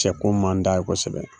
Cɛko man d'a ye kosɛbɛ